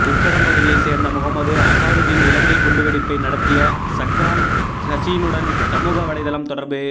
உக்கடம் பகுதியை சேர்ந்த முகமது அசாருதின் இலங்கை குண்டுவெடிப்பை நடத்திய ஸக்ரான் ஹசீனுடன் சமூக வலைதளம் தொடர்பு